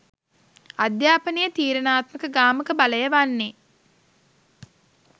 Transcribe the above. අධ්‍යාපනයේ තීරණාත්මක ගාමක බලය වන්නේ